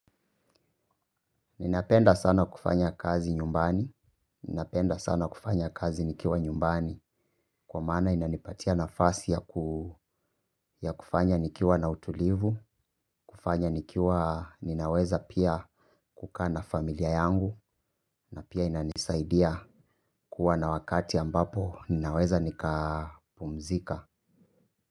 Ninapenda sana kufanya kazi nyumbani, ninapenda sana kufanya kazi nikiwa nyumbani, kwa maana inanipatia nafasi ya ya kufanya nikiwa na utulivu, kufanya nikiwa ninaweza pia kukaa na familia yangu, na pia inanisaidia kuwa na wakati ambapo ninaweza nika pumzika.